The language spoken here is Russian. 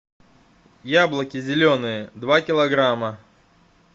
яблоки зеленые два килограмма